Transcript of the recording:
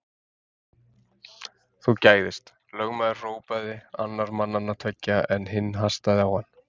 Þú gægðist, lögmaður hrópaði annar mannanna tveggja, en hinn hastaði á hann.